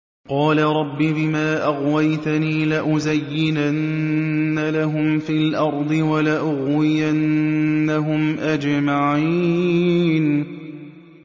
قَالَ رَبِّ بِمَا أَغْوَيْتَنِي لَأُزَيِّنَنَّ لَهُمْ فِي الْأَرْضِ وَلَأُغْوِيَنَّهُمْ أَجْمَعِينَ